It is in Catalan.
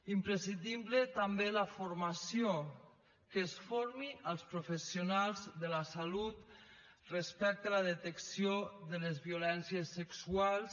imprescindible també la formació que es formi els professionals de la salut respecte a la detecció de les violències sexuals